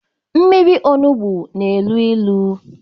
Mmịri ọnugbọ n'elụ ilu